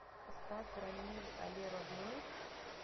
поставь рамиль але родной